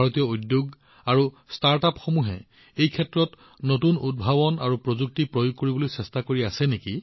ভাৰতীয় উদ্যোগ আৰু ষ্টাৰ্টআপসমূহে এই ক্ষেত্ৰত নতুন উদ্ভাৱন আৰু নতুন প্ৰযুক্তি অনাত নিয়োজিত হৈ আছে